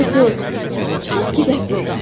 Hə Corc, çıxaq gedək burdan.